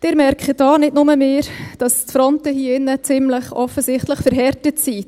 Sie merken auch, nicht nur wir, dass die Fronten hier im Saal ziemlich offensichtlich verhärtet sind.